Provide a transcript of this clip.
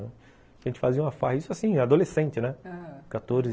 A gente fazia uma farra, isso assim, adolescente, né? aham, quatorze